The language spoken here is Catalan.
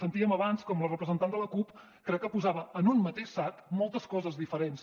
sentíem abans com la representant de la cup crec que posava en un mateix sac moltes coses diferents